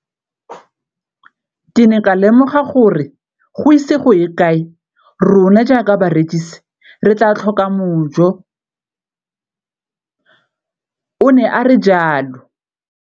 Ke ne ka lemoga gore go ise go ye kae rona jaaka barekise re tla tlhoka mojo, o ne a re jalo.